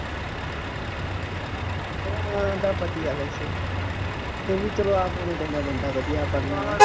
ਚੱਲੋ ਆਏਂ ਤਾਂ ਵਧੀਆਂ ਵੈਸੇ ਫੇਰ ਵੀ ਚੱਲੋ ਆਪ ਹੋਣਾ ਚਾਹੀਦਾ ਬੰਦਾ ਵਧੀਆ ਪਰ ਨਾਲ